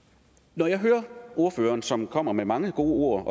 når jeg hører ordføreren som kommer med mange gode